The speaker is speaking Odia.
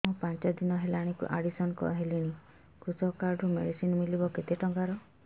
ମୁ ପାଞ୍ଚ ଦିନ ହେଲାଣି ଆଡ୍ମିଶନ ହେଲିଣି କୃଷକ କାର୍ଡ ରୁ ମେଡିସିନ ମିଳିବ କେତେ ଟଙ୍କାର